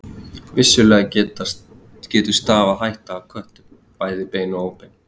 Vissulega getur stafað hætta af köttum, bæði bein og óbein.